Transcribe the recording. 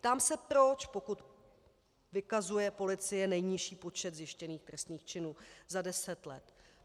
Ptám se proč, pokud vykazuje policie nejnižší počet zjištěných trestných činů za deset let.